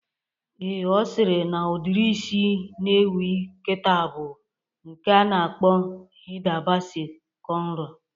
Ee, Ọ sịrị na udiri isi na-ewu kịta bụ nke a na-akpọ Hida Basi kọnro